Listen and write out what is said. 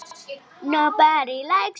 sagði Jakob.